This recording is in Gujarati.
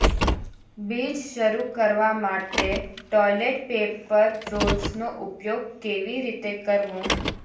બીજ શરૂ કરવા માટે ટોયલેટ પેપર રોલ્સનો ઉપયોગ કેવી રીતે કરવો